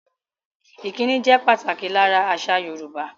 Ìkíni jẹ pàtàkì lára àṣà Yorùbá